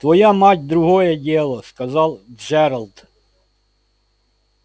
твоя мать другое дело сказал джералд